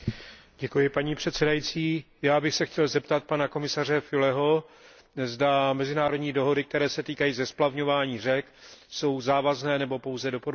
Paní předsedající, já bych se chtěl zeptat pana komisaře Füleho, zda mezinárodní dohody, které se týkají splavňování řek, jsou závazné nebo pouze doporučující.